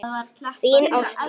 Þín, Ásdís.